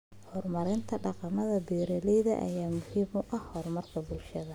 Horumarinta dhaqamada beeralayda ayaa muhiim u ah horumarka bulshada.